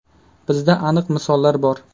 Bizda aniq misollar bor.